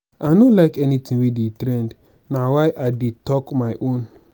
i no like anything wey dey trend na why i dey talk my own